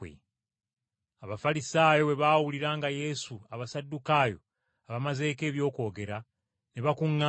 Abafalisaayo bwe baawulira nga Yesu Abasaddukaayo abamazeeko eby’okwogera, ne bakuŋŋaana.